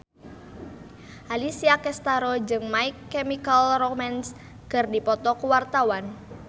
Alessia Cestaro jeung My Chemical Romance keur dipoto ku wartawan